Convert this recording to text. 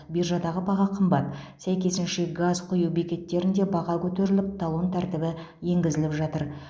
биржадаға баға қымбат сәйкесінше газ құю бекеттерінде баға көтеріліп талон тәртібі енгізіліп жатыр